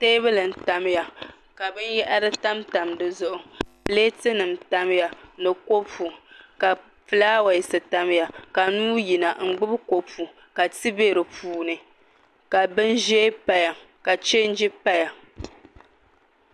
Teebuli n tamya ka binyahari tam tam di zuɣu pileeti nim n tamya ni kopu ka fulaawaasi tamya ka nuu yina n gbubi kopu ka ti bɛ di puuni ka bin ʒiɛ paya ka chɛnji paya